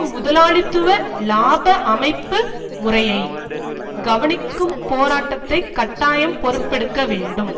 முதலாளித்துவ இலாப அமைப்பு முறையை கவனிக்கும் போராட்டத்தை கட்டாயம் பொறுப்பெடுக்க வேண்டும்